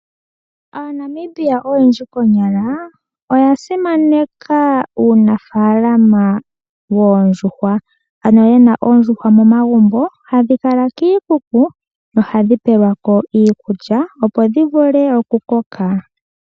AaNamibia oyendji konyala oya simaneka uunafalama wondjuhwa, ano yena oondjuhwa momagumbo hadhi kala kiikuku nohadhi pelwako iikulya opo dhivule oku koka.